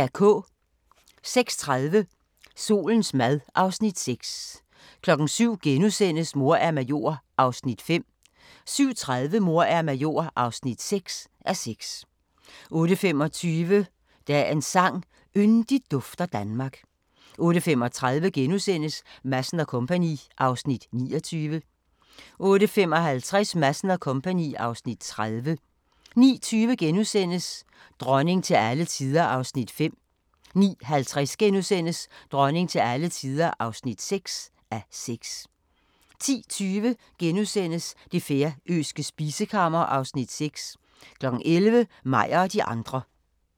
06:30: Solens mad (Afs. 6) 07:00: Mor er major (5:6)* 07:30: Mor er major (6:6) 08:25: Dagens sang: Yndigt dufter Danmark 08:35: Madsen & Co. (Afs. 29)* 08:55: Madsen & Co. (Afs. 30) 09:20: Dronning til alle tider (5:6)* 09:50: Dronning til alle tider (6:6)* 10:20: Det færøske spisekammer (Afs. 6)* 11:00: Meyer og de andre